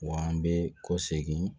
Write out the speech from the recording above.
Wa an bɛ kɔsegin